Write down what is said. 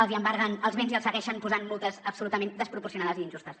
els embarguen els béns i els segueixen posant multes absolutament desproporcionades i injustes